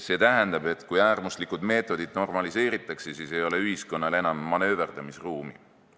See tähendab, et kui äärmuslikud meetodid normaliseeritakse, siis ei ole ühiskonnal enam manööverdamisruumi.